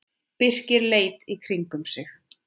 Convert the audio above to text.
Birkir leit í kringum sig.